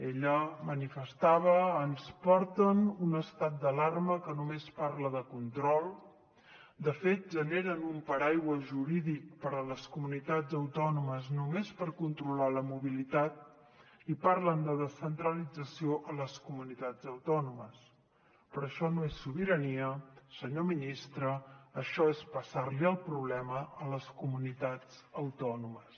ella manifestava ens porten un estat d’alarma que només parla de control de fet generen un paraigua jurídic per a les comunitats autònomes només per controlar la mobilitat i parlen de descentralització a les comunitats autònomes però això no és sobirania senyor ministre això és passar li el problema a les comunitats autònomes